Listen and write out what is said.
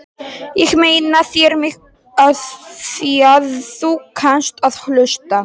Ég eigna mér þig afþvíað þú kannt að hlusta.